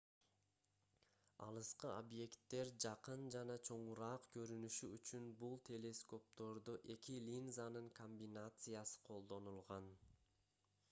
алыскы объекттер жакын жана чоңураак көрүнүшү үчүн бул телескоптордо эки линзанын комбинациясы колдонулган